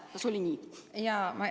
Kas oli nii?